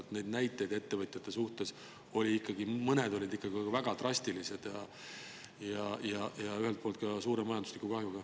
Mõned näited ettevõtjate kohta olid ikkagi väga drastilised ja ka suure majandusliku kahjuga.